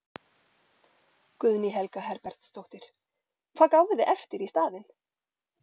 Guðný Helga Herbertsdóttir: Hvað gáfuð þið eftir í staðinn?